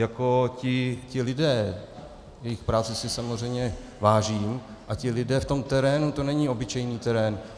Jako ti lidé, jejich práce si samozřejmě vážím, a ti lidé v tom terénu, to není obyčejný terén.